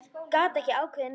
Gat ekki ákveðið neitt.